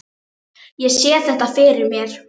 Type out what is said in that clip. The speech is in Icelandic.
Ég sé þetta fyrir mér.